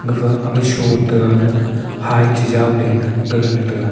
gapha aga sho tega le hy chejaw leley gagana tega.